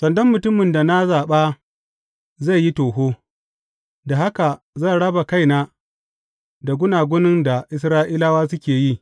Sandan mutumin da na zaɓa zai yi toho, da haka zan raba kaina da gunagunin da Isra’ilawa suke yi.